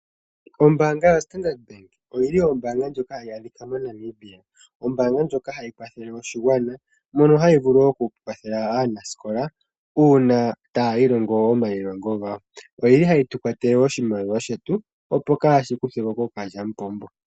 Ombaanga yo Standard Bank oyili ombaanga ndjoka hayi adhika mo Namibia. Ombaanga ndjoka hayi kwathele oshigwana. Mono hayi vulu okukwathela aanasikola uuna taya ilongo omayilongo gawo. Oyili hayi tu kwatele oshimaliwa shetu opo kaashi kuthweko kookalyampombo.